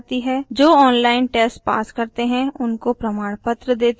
जो online test pass करते हैं उनको प्रमाणपत्र देती हैं